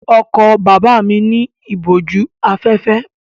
Ọkọ̀ bàbá mi ní ìbòjú-afẹ́fẹ́.